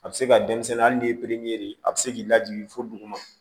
A bɛ se ka denmisɛnnin hali n'i ye a bɛ se k'i lajigin fo duguma